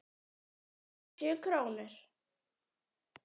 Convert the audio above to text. Fimmtíu krónur?